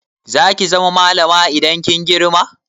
Za ki zama malama idan kin girma?